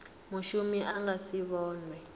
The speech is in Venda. mushumi a nga si vhonwe